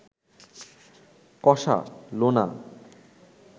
কষা, লোনা